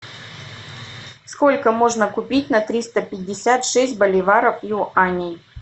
сколько можно купить на триста пятьдесят шесть боливаров юаней